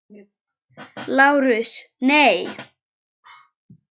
LÁRUS: Nei!